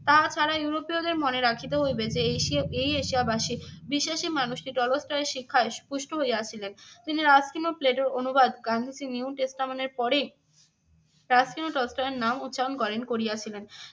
তাহা ছাড়াও ইউরোপীয়দের মনে রাখিতে হইবে যে এশিয়া এই এশিয়াবাসী বিশ্বাসী মানুষটি টলস্টয়ের শিক্ষায় পুষ্ট হইয়াছিলেন। তিনি ও প্লেটোর অনুবাদ গান্ধীজীর নিউ টেস্টামেন্টের পরেই নাম উচ্চারণ করেন করিয়েছিলেন।